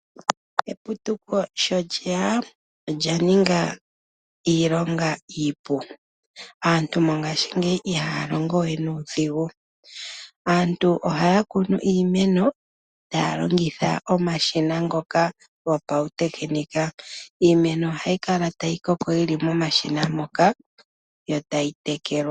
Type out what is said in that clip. Eputuko sho lyeya, olya ninga iilonga iipu. Aantu mongashingeyi ihaya longo we nuudhigu. Aantu ohaya kunu iimeno, taya longitha omashina ngoka gopawutekinika. Iimeno ohayi kala tayi koko yili momashina moka, yo tayi tekelwa.